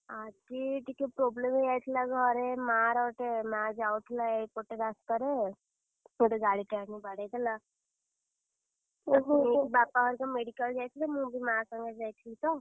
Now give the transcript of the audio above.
ଆଜି, ଟିକେ problem ହେଇ ଯାଇଥିଲା ଘରେ ମାଆର ଗୋଟେ ମାଆ ଯାଉଥିଲା ଏଇପଟେ ରାସ୍ତାରେ, ଗୋଟେ ଗାଡିଟେ ଆଣି ବାଡ଼େଇଦେଲା! ତାକୁ ନେଇକି ବାପା ହରିକା medical ଯାଇଥିଲେ। ମୁଁ ବି ମାଆ ସାଙ୍ଗରେ ଯାଇଥିଲି ତ!